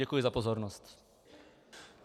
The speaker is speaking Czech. Děkuji za pozornost.